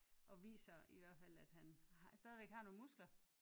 Og viser i hvert fald at han stadigvæk har nogle muskler